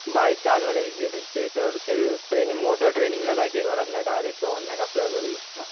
Bike चालवायला easy असते तर ते मी मोटर ट्रेनिंगला जायची काही गरज नाही डायरेक्ट ऑनलाईन आपल्या घरी येतं.